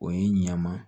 O ye ɲama